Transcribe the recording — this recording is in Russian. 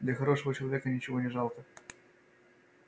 для хорошего человека ничего не жалко